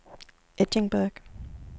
Edinburgh